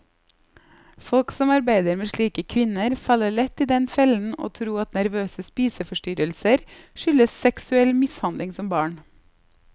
Folk som arbeider med slike kvinner, faller lett i den fellen å tro at nervøse spiseforstyrrelser skyldes seksuell mishandling som barn.